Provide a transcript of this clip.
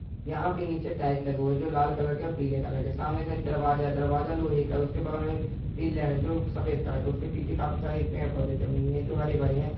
यहाँ पर नीचे टाइल्स लगे हुए है जो लाल कलर और पीले कलर के है सामने दरवाजा है दरवाजा लोहै का है उसके बगल में पिल्लर है जो सफ़ेद कलर का है उसके पीछे काफी सारे पेड़-पौधे है जो हरे-भरे हैं।